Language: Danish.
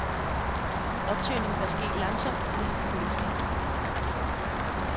Optøning bør ske langsomt og helst i køleskab.